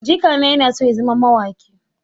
Jikana yana so ya zama mawaƙi.